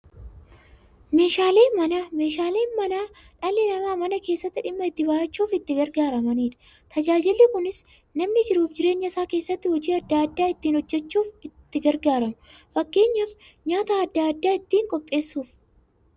Meeshaaleen Manaa meeshaalee dhalli namaa Mana keessatti dhimma itti ba'achuuf itti gargaaramaniidha. Tajaajilli kunis, namni jiruuf jireenya isaa keessatti hojii adda adda ittiin hojjachuuf itti gargaaramu. Fakkeenyaf, nyaata adda addaa ittiin qopheessuuf.